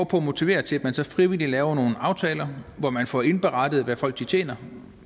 på at motivere til at man så frivilligt laver nogle aftaler hvor man får indberettet hvad folk tjener